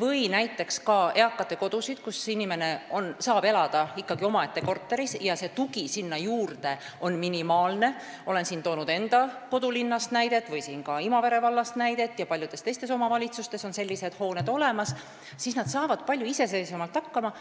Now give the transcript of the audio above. või näiteks eakatekodusid, kus inimene saab elada ikkagi omaette korteris ja tugi sinna juurde on minimaalne – olen toonud näiteid enda kodulinnast või ka Imavere vallast ja teistest omavalitsustest, kus on sellised hooned olemas –, siis nad saavad palju iseseisvamalt hakkama.